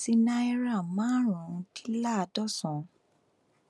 sí náírà márùnúndínláàádọsànán